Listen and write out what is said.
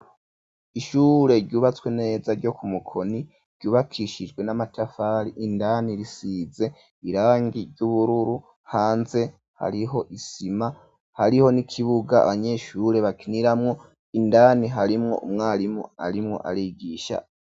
Ishure ryubatswe neza ryo ku Mukoni ryubakishijwe n'amatafari indani risize irangi ry'ubururu hanze hariho isima hariho n'ikibuga abanyeshure bakiniramwo indani harimwo umwarimu arimwo arigisha.